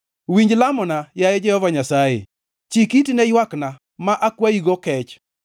Winj lamona, yaye Jehova Nyasaye; chik iti ne ywakna ma akwayigo kech.